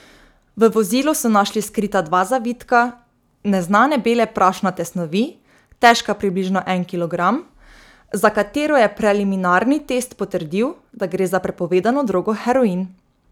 V vozilu so našli skrita dva zavitka neznane bele prašnate snovi, težka približno en kilogram, za katero je preliminarni test potrdil, da gre za prepovedano drogo heroin.